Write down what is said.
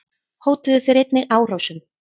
Hótuðu þeir einnig árásum.